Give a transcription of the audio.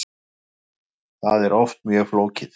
Það er oft mjög flókið.